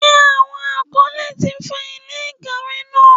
Ṣé àwọn afọlẹ̀ ti fọ ilẹ̀ ìkàwé náà?